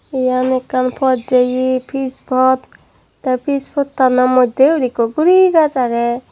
iyan ekkan pot jeye pis pot tey pis pottano moddyeyuri ikko guri gaaj agey.